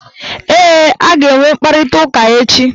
Ee, a ga-enwe mkparịtaụka echi